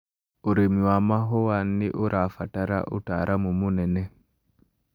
ũrĩmi wa mahũa nĩũrabatara ũtaramu mũnene